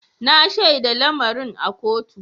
Na shaida lamarin a kotu.